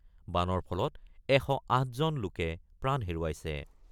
বানৰ ফলত ১০৮জন লোকে প্ৰাণ হেৰুৱাইছে।